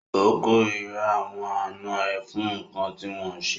O kòrira àwọn àná ẹ fún nkán ti wọn ṣe.